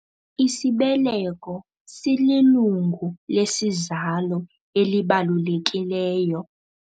Isibeleko sililungu lesizalo elibalulekileyo.